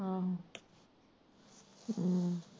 ਅਹ ਹਮ